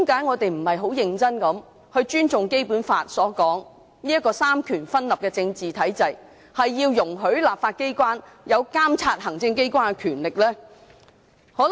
為何當局不尊重《基本法》的規定，在這個三權分立的政治體制下容許立法機關擁有監察行政機關的權力？